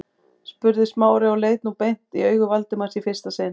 spurði Smári og leit nú beint í augu Valdimars í fyrsta sinn.